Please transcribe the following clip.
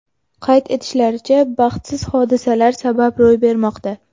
Qayd etishlaricha, baxtsiz hodisalar sabab ro‘y bermoqda.